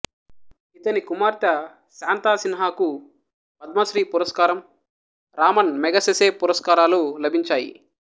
ఇతని కుమార్తె శాంతా సిన్హాకు పద్మశ్రీ పురస్కారం రామన్ మెగసెసేపురస్కారాలు లభించాయి